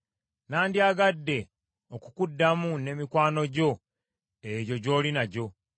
“Nandyagadde okukuddamu ne mikwano gyo egyo gy’oli nagyo.